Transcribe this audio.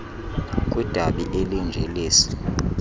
kwidabi elinje lesi